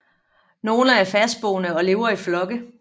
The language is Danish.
Nogle er fastboende og lever i flokke